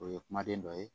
O ye kumaden dɔ ye